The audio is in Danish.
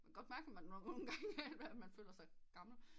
Men kan godt mærke nogen gange man føler sig gammel